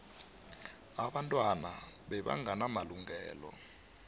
abantwana bebangena malungelo